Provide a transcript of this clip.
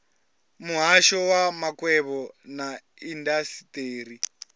muhasho wa makwevho na indasiteri